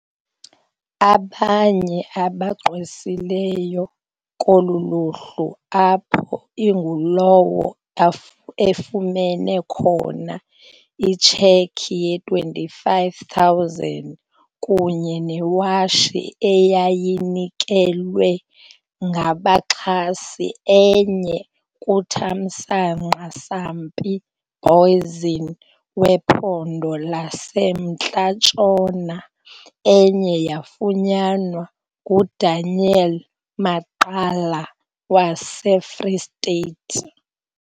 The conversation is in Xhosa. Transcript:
Abanye abagqwesileyo kolu luhlu apho ingulowo efumene khona itshekhi ye-R25 000 kunye newotshi eyayinikelwe ngabaxhasi enye kuThamsanqa Sampie Booizene wePhondo laseMntla Ntshona enye yafunyanwa nguDaniel Maqala waseFree State.